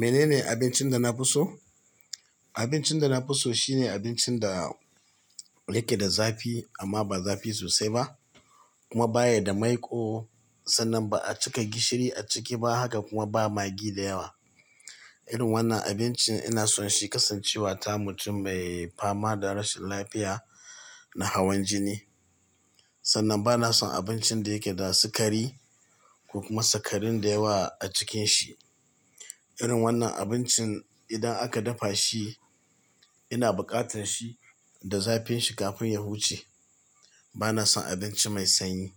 Menene abincin da na fi so? Abincin da na fi so shine abincin da yake da zafi amma ba zafi sosai ba kuma baya da maiƙo sannan ba a cika gishiri a ciki ba. Haka kuma ba magi da yawa. Irin wannan abincin ina son shi kasancewa ta mutum mai fama da rashin lafiya na hawan jini. Sannan ba na son abincin da yake da sikari ko kuma sikarin da yawa a cikin shi. Irin wannan abincin idan aka dafa shi, ina buƙatar shi da zafin shi kafin ya huce. Ba na son abinci mai sanyi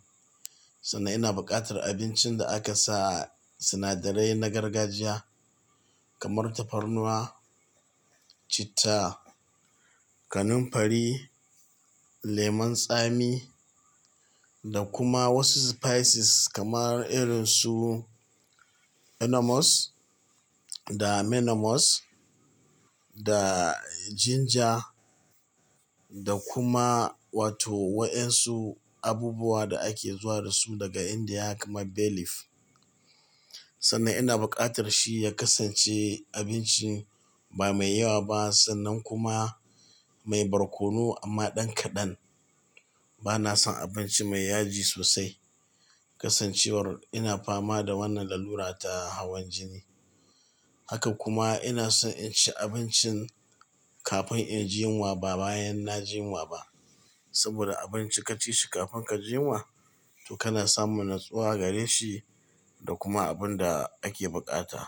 sannan ina buƙatar abincin da aka sa sinadarai na gargajiya kamar tafarnuwa, citta, kanunfari, lemon tsami da kuma wasu spices kamar irin su enomos da menomos da ginger da kuma wato wayansu abubuwa da ake zuwa da su daga Indiya kamar bay leaf. Sannan ina buƙatar shi ya kasance abinci ba mai yawa ba sannan kuma mai barkono amma ɗan kaɗan. Ba na son abinci mai yaji sosai kasancewar ina fama da wannan lalura ta hawan jini. Haka kuma ina son in ci abincin kafin in ji yunwa ba bayan na ji yunwa ba saboda abinci ka ci shi kafin ka ji yunwa to kana samun natsuwa gare shi da kuma abun da ake buƙata.